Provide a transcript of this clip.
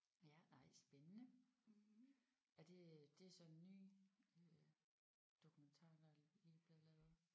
Ja nej spændende. Er det det er så en ny øh dokumentar der lige er blevet lavet